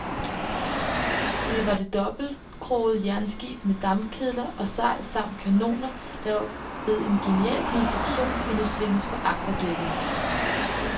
Det var det dobbeltskrogede jernskib med dampkedler og sejl samt kanoner, der ved en genial konstruktion kunne svinges på agterdækket.